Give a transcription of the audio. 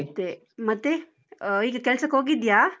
ಮತ್ತೆ ಮತ್ತೆ, ಈಗ ಕೆಲ್ಸಕ್ಕೋಗಿದ್ಯಾ?